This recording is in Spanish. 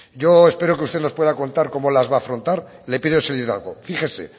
yo espero que usted nos pueda contar cómo las va afrontar le pido ese liderazgo fíjese